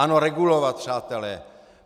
Ano, regulovat, přátelé.